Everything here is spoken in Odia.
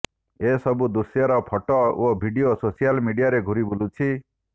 ଏସବୁ ଦୃଶ୍ୟର ଫଟୋ ଓ ଭିଡିଓ ସୋସିଆଲ୍ ମିଡିଆରେ ଘୁରି ବୁଲିଛି